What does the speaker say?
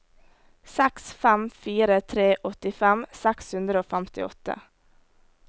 seks fem fire tre åttifem seks hundre og femtiåtte